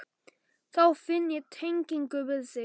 Þá finn ég tengingu við þig.